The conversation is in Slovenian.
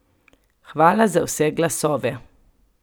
Hvala za vse glasove!